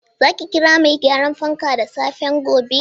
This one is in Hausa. Za ki kira mai gyaran fankan da safen gobe ne?